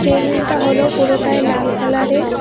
টেবিলটা হল পুরোটাই লাল কালারের।